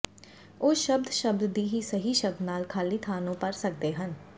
ਉਹ ਸ਼ਬਦ ਸ਼ਬਦ ਦੀ ਸਹੀ ਸ਼ਬਦਾਂ ਨਾਲ ਖਾਲੀ ਥਾਂ ਨੂੰ ਭਰ ਸਕਦੇ ਹਨ